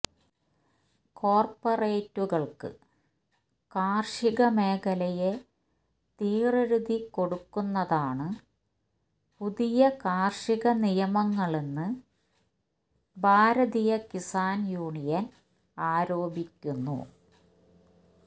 കോർപറേറ്റുകൾക്ക് കാർഷിക മേഖലയെ തീറെഴുതി കൊടുക്കുന്നതാണ് പുതിയ കാർഷിക നിയമങ്ങളെന്ന് ഭാരതീയ കിസാൻ യൂണിയൻ ആരോപിക്കുന്നു